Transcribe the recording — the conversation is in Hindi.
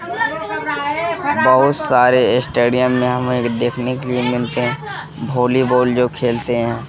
बहुत सारे स्टेडियम में हमें देखने के लिए मिलते हैं भोलीबाल जो खेलते हैं।